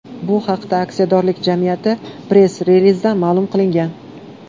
Bu haqda aksiyadorlik jamiyati press-relizida ma’lum qilingan .